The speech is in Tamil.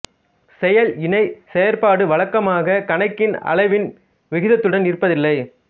செயல் இணைச் செயற்பாடு வழக்கமாக கணக்கின் அளவின் விகிதத்துடன் இருப்பதில்லை